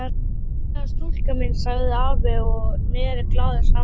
Fallega stúlkan mín sagði afi og neri glaður saman höndunum.